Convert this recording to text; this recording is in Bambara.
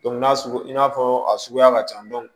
n'a sugu i n'a fɔ a suguya ka ca